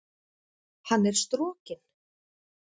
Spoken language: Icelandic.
Hann er strokinn!